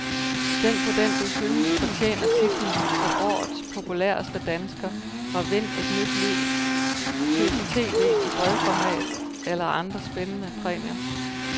Stem på den du synes fortjener titlen som årets populæreste dansker, og vind et nyt tv i bredformat eller andre spændende præmier.